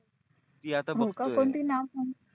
हो का कोणती नाव काय?